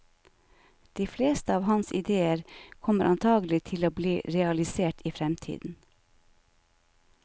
De fleste av hans idéer kommer antagelig til å bli realisert i fremtiden.